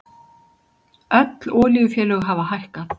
Öll olíufélög hafa hækkað